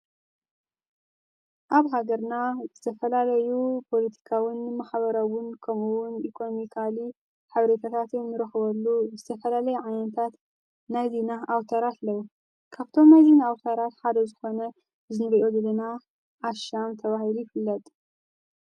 ኣብ ሃገርና ዝተፈላለዩ ጶልቲካውን መኸበረውን ከምውን ኢቆኖሚካሊ ሓብሪታታት እንርኅበሉ ዝተፈላለይ ዓያንታት ናዝ ና ኣውታራት ለዉ ካብቶም ኣይዙና ኣውታራት ሓደ ዝኾነ ዝኒረኦ ድልና ዓሻም ተብሂሩ ይፍለጥ።